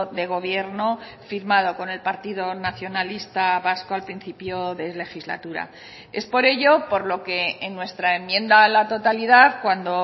de gobierno firmado con el partido nacionalista vasco al principio de legislatura es por ello por lo que en nuestra enmienda a la totalidad cuando